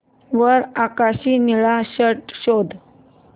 वर आकाशी निळा शर्ट शोध